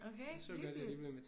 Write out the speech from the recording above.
Okay. Hyggeligt